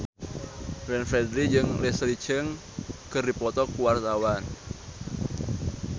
Glenn Fredly jeung Leslie Cheung keur dipoto ku wartawan